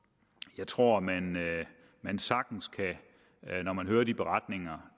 jeg tror man man sagtens når man hører de beretninger